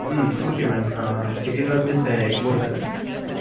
உம் okay mam ஆஹ் Chettinad mess Egmore தான?